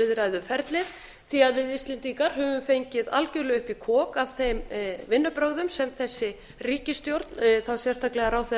viðræðuferlið því að við íslendingar höfum fengið algjörlega upp í kok af þeim vinnubrögðum sem þessi ríkisstjórn og þá sérstaklega ráðherrar